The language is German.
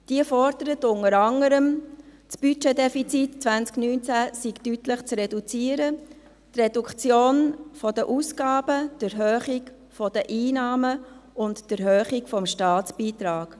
Diese fordert unter anderem, das Budgetdefizit 2019 sei deutlich zu reduzieren: Reduktion der Ausgaben, Erhöhung der Einnahmen und Erhöhung des Staatsbeitrags.